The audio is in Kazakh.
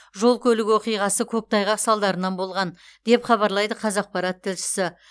жол көлік оқиғасы көктайғақ салдарынан болған деп хабарлайды қазақпарат тілшісі